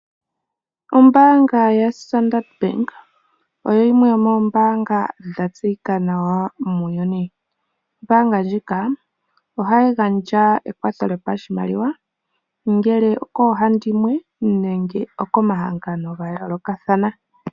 Ombaanga yaStandard bank oyo yimwe yomombaanga dhatseyika nawa muuyuni. Ombaanga ndjika ohayi gandja eyakulo yoshimaliwa ongele okoohandimwe nenge okomahanfano ga yoolokathana.